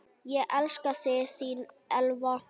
Ég elska þig, þín Elva.